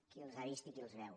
qui els ha vist i qui els veu